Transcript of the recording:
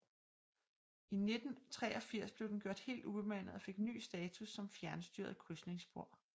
I 1983 blev den gjort helt ubemandet og fik ny status som fjernstyret krydsningsspor